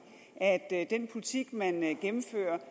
at den politik man gennemfører